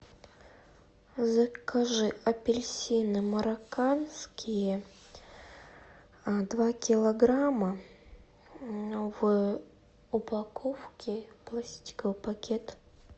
закажи апельсины марокканские два килограмма в упаковке пластиковый пакет